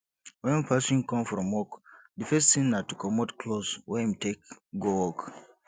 when person come from work di first thing na to comot cloth wey im take go work